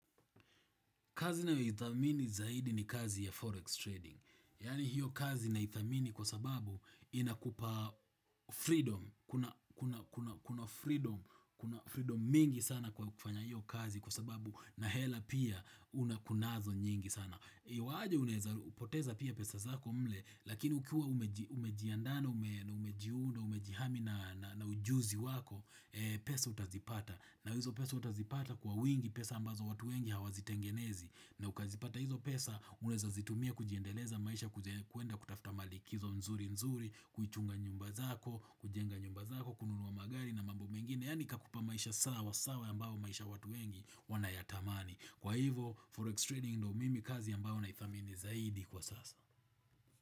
Kazi ninayoidhamini zaidi ni kazi ya forex trading. Yani hiyo kazi naidhamini kwa sababu inakupa freedom. Kuna Kuna freedom kuna freedom mingi sana kwa kufanya hiyo kazi kwa sababu na hela pia una kunazo nyingi sana. Iwaaje unaweza u poteza pia pesa zako mle, lakini ukiwa umejiandaa na umejiunda umejihami na na ujuzi wako, pesa utazipata. Na hizo pesa utazipata kwa wingi pesa ambazo watu wengi hawazitengenezi. Na ukazipata hizo pesa, unaweza zitumia kujiendeleza maisha kuenda kutafta malikizo nzuri nzuri, kuichunga nyumba zako, kujenga nyumba zako, kununua magari na mambo mengine. Yaani kakupa maisha sawa sawa ambayo maisha watu wengi wanayatamani. Kwa hivo, Forex Trading ndo mimi kazi ambao naidhamini zaidi kwa sasa.